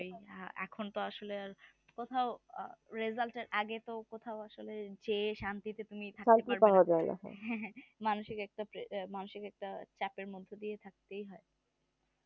কোথাও result আগে তো কোথাও আসলে যেয়ে শান্তিতে তুমি থাকতে হ্যাঁ হ্যাঁ মানষিক একটা চাপের মধ্যে দিয়ে থাকতেই হয়